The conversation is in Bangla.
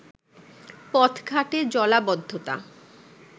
পথঘাটে জলাবদ্ধতা